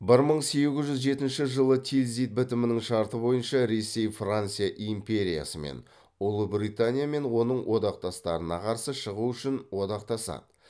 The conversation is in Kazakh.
бір мың сегіз жүз жетінші жылы тильзит бітімінің шарты бойынша ресей франция империясымен ұлыбритания мен оның одақтастарына қарсы шығу үшін одақтасады